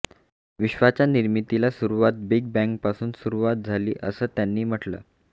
विश्वाच्या निर्मितीला सुरुवात बिग बॅंगपासून सुरुवात झाली असं त्यांनी म्हटलं